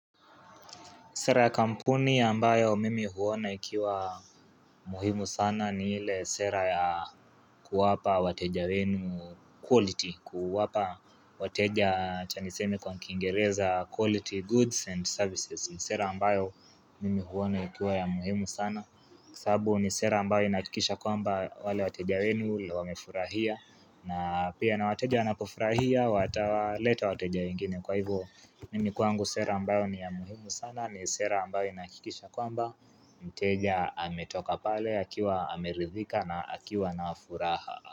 Sera ya kampuni ya ambayo mimi huona ikiwa muhimu sana ni ile sera ya kuwapa wateja wenu quality, kuwapa wateja acha niseme kwa kiingereza quality goods and services ni sera ambayo mimi huona ikiwa ya muhimu sana, kwa sababu ni sera ambayo inahakikisha kwamba wale wateja wenu wamefurahia na pia na wateja wanapofurahia, wataleta wateja wengine kwa hivo mimi kwangu sera ambayo ni ya muhimu sana, ni sera ambayo inahakikisha kwamba Mteja ametoka pale, akiwa ameridhika na akiwa na furaha.